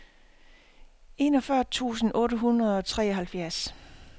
enogfyrre tusind otte hundrede og treoghalvfjerds